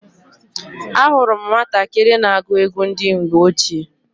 Ahụrụ m nwatakịrị na-agụ egwu ndị mgbe ochie.